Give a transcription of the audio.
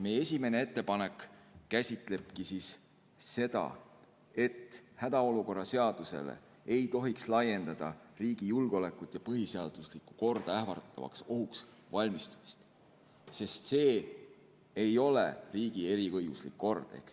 Meie esimene ettepanek käsitleb seda, et hädaolukorra seadusele ei tohiks laiendada riigi julgeolekut ja põhiseaduslikku korda ähvardavaks ohuks valmistumist, sest see ei ole riigi eriõiguslik kord.